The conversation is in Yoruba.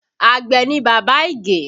Àgbẹ̀ ni bàbá Ige